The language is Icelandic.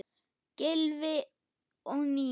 Gylfi og Nína.